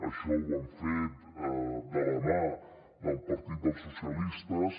això ho han fet de la mà del partit dels socialistes